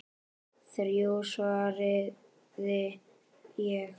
Þrjú, svaraði ég.